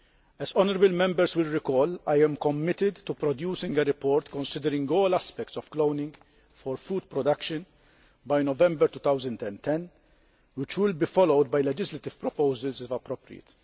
As Members will recall, I am committed to producing a report considering all aspects of cloning for food production by November 2010, which will be followed by legislative proposals if appropriate.